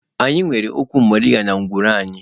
Anyị nwere ụkwụ moringa na ngwuru anyị.